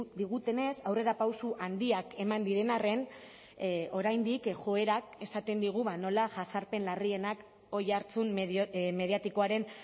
digutenez aurrerapauso handiak eman diren arren oraindik joerak esaten digu nola jazarpen larrienak oihartzun mediatikoaren